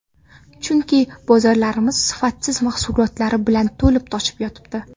Chunki bozorlarimiz sifatsiz mahsulotlari bilan to‘lib-toshib yotibdi.